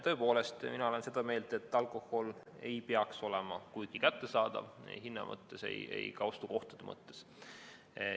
Tõepoolest, mina olen seda meelt, et alkohol ei peaks olema kuigi kättesaadav ei hinna ega ka ostukohtade mõttes.